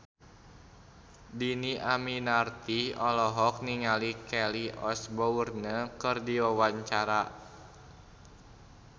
Dhini Aminarti olohok ningali Kelly Osbourne keur diwawancara